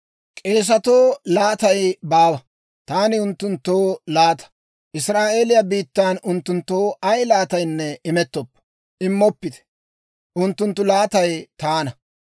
«‹ «K'eesetoo laatay baawa; taani unttunttoo laata. Israa'eeliyaa biittan unttunttoo ay laataanne immoppite; unttunttu laatay Taana.